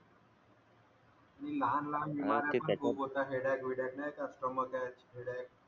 आणि लहान लहान मुलांना खुप होतात हेड एग विडेग नई का स्टमक एग हेड एग